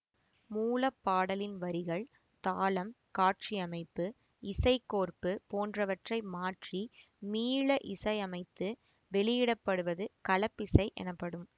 மூல பாடலின் வரிகள் தாளம் காட்சியமைப்பு இசைக்கோர்ப்பு போன்றவற்றை மாற்றி மீள இசையமைத்து வெளியிடப்படுவது கலப்பிசை எனப்படும்